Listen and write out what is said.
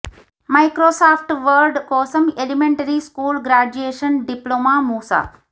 Microsoft Word కోసం elementary school graduation diploma మూస